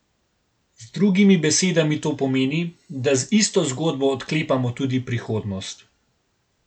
Z drugimi besedami to pomeni, da z isto zgodbo odklepamo tudi prihodnost.